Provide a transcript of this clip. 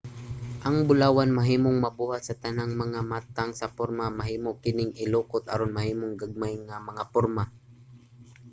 ang bulawan mahimong mabuhat sa tanang mga matang sa porma. mahimo kining ilukot aron mahimong gagmay nga mga porma